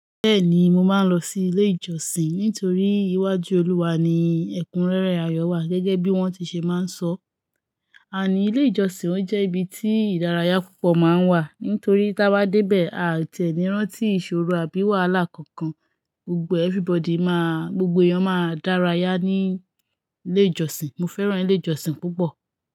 Bẹ́ẹ̀ni, mo máa ń lọ sí ilé ìjọsìn nítorí iwájú Olúwa ni ẹ̀kúnrẹ́rẹ́ ayọ̀ wà. Gẹ́gẹ́ bí wọ́n ti ṣe máa ń sọ ọ́. And ilé ìjọsìn ó jẹ́ ibi tí ìdárayá púpọ̀ máa ń wà. Nítorí táa bá débẹ̀, aà tiẹ̀ ní rántí ìṣòro àbí wàhálà kankan. Gbogbo everybody máa, gbogbo èèyàn máa dárayá ní ilé ìjọsìn. Mo fẹ́ràn ilé ìjọsìn púpọ̀